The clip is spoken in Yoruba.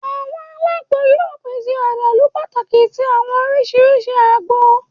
Awọn alagbo yoo pese adalu pataki ti awọn oriṣiriṣi ágbò